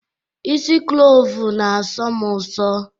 Ịsi klovu na asọ m uso